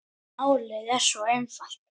En er málið svo einfalt?